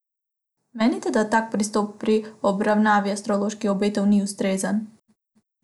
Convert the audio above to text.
Menite, da tak pristop pri obravnavi astroloških obetov ni ustrezen?